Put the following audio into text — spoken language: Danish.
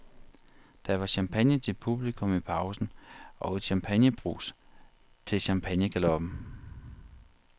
Der var champagne til publikum i pausen, og et champagnebrus til champagnegaloppen.